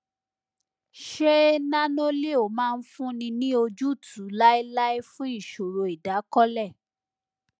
ṣé nanoleo máa fúnni ní ojútùú láéláé fún ìṣòro ìdákọlẹ